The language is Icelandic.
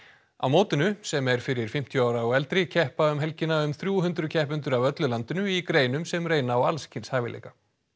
á mótinu sem er fyrir fimmtíu ára og eldri keppa um helgina um þrjú hundruð keppendur af öllu landinu í greinum sem reyna á alls kyns hæfileika